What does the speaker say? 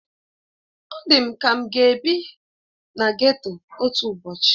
Ọ dị m ka m ga-ebi na geto otu ụbọchị